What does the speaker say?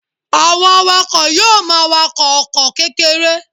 Àwọn awakọ̀ yóò máa wakọ̀ ọkọ̀ kékeré